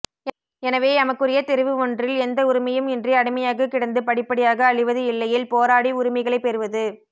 எனவே எமக்குரிய தெரிவு ஒன்றில் எந்த உரிமையும் இன்றி அடிமையாக கிடந்து படிப்படியாக அழிவது இல்லையேல் போராடி உரிமைகளை பெறுவது